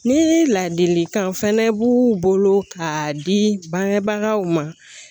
Ni ladilikan fɛnɛ b'u bolo k'a di bangebagaw ma